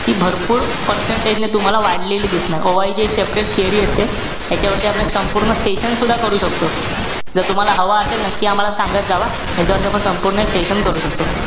ती भरपूर percentage ने तुम्हाला वाढलेली दिसणार. OI ची separate theory असते. त्याच्यावरती आपण एक संपूर्ण session सुद्धा करू शकतो. जर तुम्हाला हवा असेल नक्की आम्हाला सांगत जावा. ह्याच्यावरती आपण संपूर्ण एक session करू शकतो.